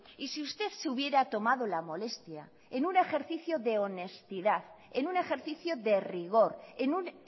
y si usted se hubiera tomado la molestia en un ejercicio de honestidad en un ejercicio de rigor en un